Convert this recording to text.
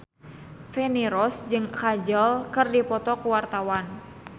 Feni Rose jeung Kajol keur dipoto ku wartawan